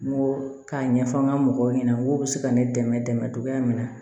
N ko k'a ɲɛfɔ n ka mɔgɔw ɲɛna ko bɛ se ka ne dɛmɛ cogoya min na